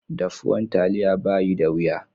Daffuwan taliya bayi da wiya.